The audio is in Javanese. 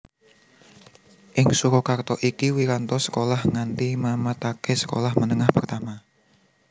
Ing Surakarta iki Wiranto sekolah nganti namataké Sekolah Menengah Pertama